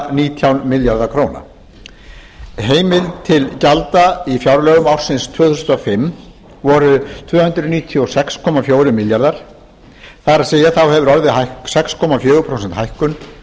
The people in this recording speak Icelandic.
nítján milljarða króna heimild til gjalda í fjárlögum ársins tvö þúsund og fimm var tvö hundruð níutíu og sex komma fjórir milljarðar króna það er þá hefur orðið sex komma fjögur prósent hækkun